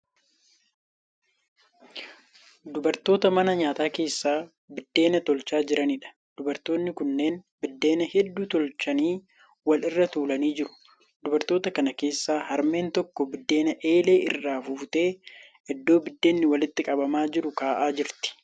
Dubartoota mana nyaataa keessaa biddeena tolchaa jiraniidha. Dubartoonni kunneen biddeena hedduu tolchanii wal irra tuulanii jiru. Dubartoota kana keessaa harmeen tokko biddeena eelee irraa fuutee iddoo biddeenni walitti qabamaa jiru ka'aa jirti.